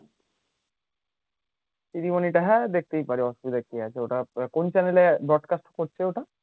ceremony টা হ্যাঁ দেখতেই পারি অসুবিধা কি আছে ওটা তোর কোন channel এ broadcast করছে ওটা